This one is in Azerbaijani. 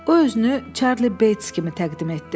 O özünü Çarli Beys kimi təqdim etdi.